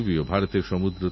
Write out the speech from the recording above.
স্টেশনে চমৎকার ছবি এঁকেছেন